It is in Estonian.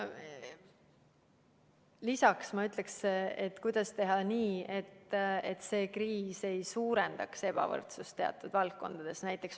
Lisaks ma ütleksin, et kuidas teha nii, et see kriis ei suurendaks ebavõrdsust teatud valdkondades.